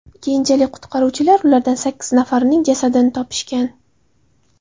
Keyinchalik qutqaruvchilar ulardan sakkiz nafarining jasadini topishgan.